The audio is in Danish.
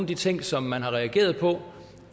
de ting som man har reageret på